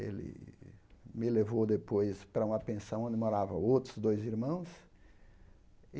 Ele me levou depois para uma pensão onde moravam outros dois irmãos.